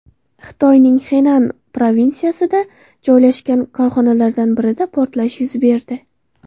Xitoyning Xenan provinsiyasida joylashgan korxonalardan birida portlash yuz berdi.